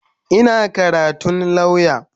Ina karatun lauya.